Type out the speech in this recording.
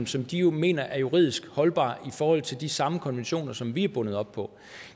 som de mener er juridisk holdbar i forhold til de samme konventioner som vi er bundet op på